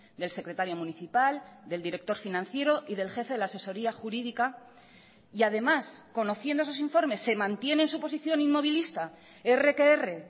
del secretario municipal del director financiero y del jefe de la asesoría jurídica y además conociendo esos informes se mantiene en su posición inmovilista erre que erre